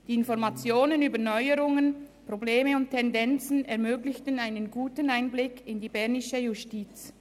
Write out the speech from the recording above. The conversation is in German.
Die Informationen über Neuerungen, Probleme und Tendenzen ermöglichten einen guten Einblick in die bernische Justiz.